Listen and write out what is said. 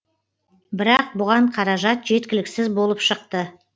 бірақ бұған қаражат жеткіліксіз болып шықты